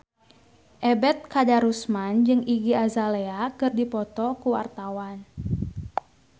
Ebet Kadarusman jeung Iggy Azalea keur dipoto ku wartawan